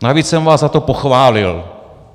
Navíc jsem vás za to pochválil.